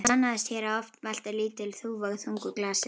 Það sannaðist hér að oft veltir lítil þúfa þungu hlassi.